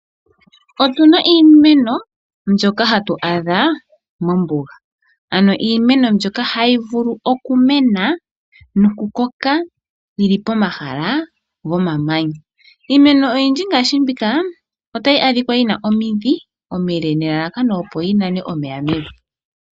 Otuna iimeno mbyoka hatu adha mombuga ano iimeno mbyoka hayi vulu okumena nokukoka momahala gomamanya ,iimeno mbika oyina omidhi omileka nelalakano opo yi nane omeya mevi.